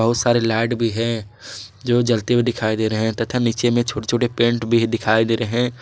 बहुत सारे लाइट भी है जो जलते हुए दिखाई दे रहे हैं तथा नीचे में छोटे छोटे पैंट भी दिखाई दे रहे हैं।